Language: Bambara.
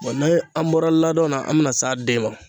ni an bɔra ladon na, an bɛna s'a den ma.